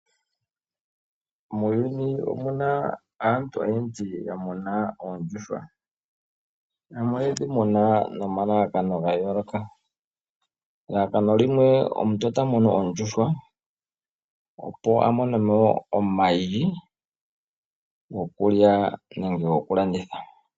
Muuyuni omuna aantu oyendji ya muna oondjuhwa, yamwe oyedhi muna nomalalakano ga yooloka. Elalakano limwe omuntu ota munu oondjuhwa opo a mone mo omayi gokulya nenge gokulanditha.